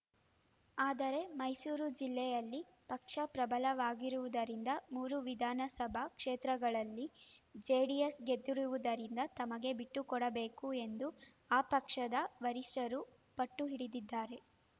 ಆದರೆ ಮೈಸೂರು ಜಿಲ್ಲೆಯಲ್ಲಿ ಪಕ್ಷ ಪ್ರಬಲವಾಗಿರುವುದರಿಂದ ಮೂರು ವಿಧಾನಸಭಾ ಕ್ಷೇತ್ರಗಳಲ್ಲಿ ಜೆಡಿಎಸ್‌ ಗೆದ್ದಿರುವುದರಿಂದ ತಮಗೆ ಬಿಟ್ಟುಕೊಡಬೇಕು ಎಂದು ಆ ಪಕ್ಷದ ವರಿಷ್ಠರು ಪಟ್ಟು ಹಿಡಿದಿದ್ದಾರೆ